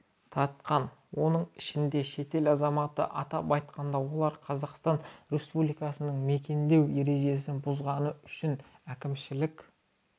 тартқан оның ішінде шетел азаматы атап айтқанда олар қазақстан республикасында мекендеу ережесін бұзғаны үшін әкімшілік